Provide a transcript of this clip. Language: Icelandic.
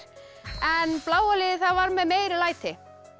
en bláa liðið var með meiri læti